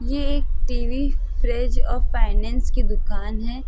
ये एक TV fridge और फाइनेंस की दुकान हैं।